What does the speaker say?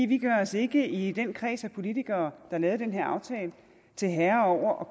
vi gør os ikke i den kreds af politikere har lavet den her aftale til herre over